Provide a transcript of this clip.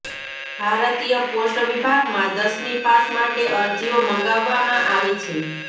ભારતીય પોસ્ટ વિભાગમાં દસમી પાસ માટે અરજીઓ મંગાવવામાં આવી છે